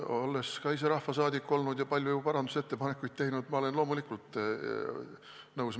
Olles ka ise olnud rahvasaadik ja teinud palju parandusettepanekuid, olen loomulikult nõus.